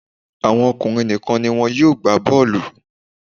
Àwọn ọkùnrin nìkan ni wọn yóò gbá bọ́ọ̀lù